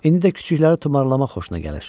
İndi də kiçikləri tumarlama xoşuna gəlir.